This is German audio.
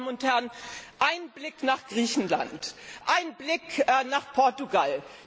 Meine Damen und Herren, ein Blick nach Griechenland ein Blick nach Portugal.